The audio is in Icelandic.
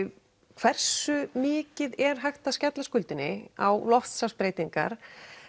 hversu mikið er hægt að skella skuldinni á loftslagsbreytingar